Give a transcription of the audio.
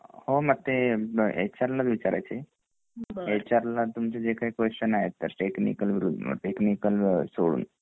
हो ना ते एच आर ला विचारायचे एच आर ला ते तुमचे जे काही क्वेस्चन आहेत टेक्निकल सोडून